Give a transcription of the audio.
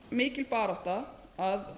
mikil barátta að